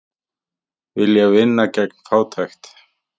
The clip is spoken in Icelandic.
Vilja vinna gegn fátækt